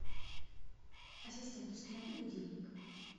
ассистент установи будильник